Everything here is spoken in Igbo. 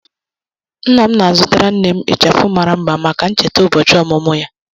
Nna m na-azụtara nne m ịchafụ mara mma maka ncheta ụbọchị ọmụmụ ya.